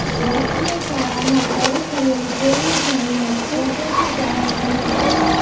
રાષ્ટ્રીય શાળામાં શરૂ થયેલી તેલની ઘાણીને સ્વદેશી ચાહકોનો આવકાર